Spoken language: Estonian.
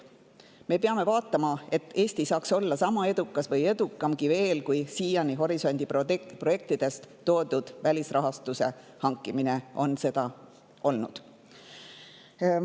Me peame vaatama, et Eesti saaks olla sama edukas või edukamgi kui siiani horisondi projektidest välisrahastuse hankimine on seda olnud.